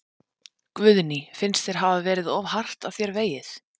Guðný: Finnst þér hafa verið of hart að þér vegið?